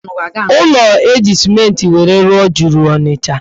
Ụlọ eji simenti were rụọ juru Ọnịcha